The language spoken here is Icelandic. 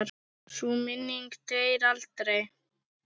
Sú minning deyr aldrei.